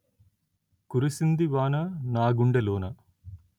కురిసింది వాన నా గుండెలోన